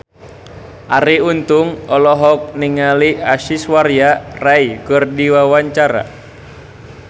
Arie Untung olohok ningali Aishwarya Rai keur diwawancara